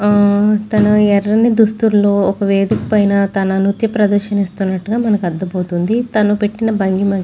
ఆ తన ఎర్రని దుస్తులో ఒక వేదిక పైన తన నృత్య ప్రదర్శన ఇస్తునట్టుగా మనకు అర్థమవుతుంది తను పెట్టిన భంగిమ --